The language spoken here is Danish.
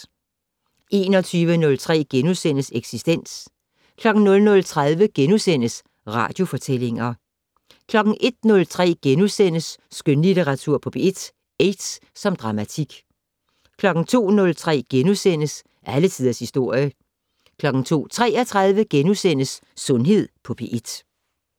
21:03: Eksistens * 00:30: Radiofortællinger * 01:03: Skønlitteratur på P1 - Aids som dramatik * 02:03: Alle tiders historie * 02:33: Sundhed på P1 *